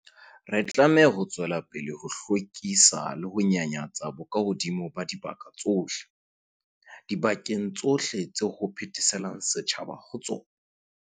Re tlameha ho tswela pele ho hlwekisa le ho nyanyatsa bokahodimo ba dibaka tsohle, dibakeng tsohle tseo ho phetheselang setjhaba ho tsona.